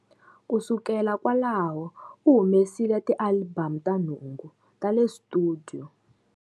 Ku sukela kwalaho, u humesile tialibamu ta nhungu ta le studio.